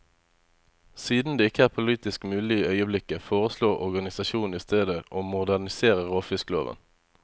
Siden det ikke er politisk mulig i øyeblikket, foreslår organisasjonen i stedet å modernisere råfiskloven.